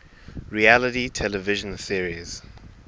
reality television series